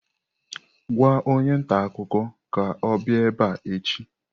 Gwa onye ntaakụkọ ka ọ bịa ebe a echi!